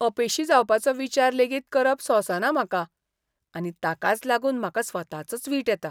अपेशी जावपाचो विचार लेगीत करप सोंसना म्हाका आनी ताकाच लागून म्हाका स्वताचोच वीट येता.